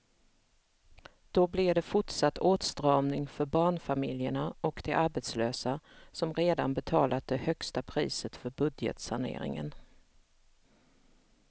Då blir det fortsatt åtstramning för barnfamiljerna och de arbetslösa som redan betalat det högsta priset för budgetsaneringen.